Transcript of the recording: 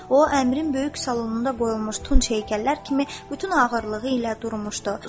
O əmrin böyük salonunda qoyulmuş tunç heykəllər kimi bütün ağırlığı ilə durmuşdu.